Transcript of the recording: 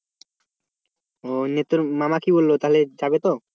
তোর মামা কি বললো তাহলে? যাবে তো?